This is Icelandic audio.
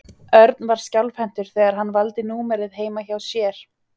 Örn var skjálfhentur þegar hann valdi númerið heima hjá sér.